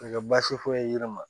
Ka kɛ baasi foyi ye yiri ma